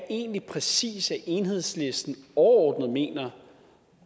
egentlig præcis at enhedslisten overordnet mener